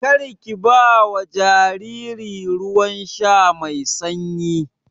Karki bawa jariri ruwan sha mai sanyi.